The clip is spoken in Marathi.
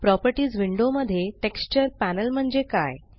प्रॉपर्टीस विंडो मध्ये टेक्स्चर पॅनल म्हणजे काय